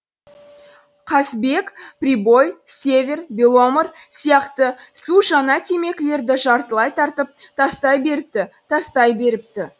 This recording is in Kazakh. қазбек прибой север беломор сияқты су жаңа темекілерді жартылай тартып тастай беріпті тастай беріпті